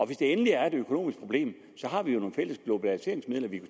hvis det endelig er et økonomisk problem har vi jo nogle fælles globaliseringsmidler vi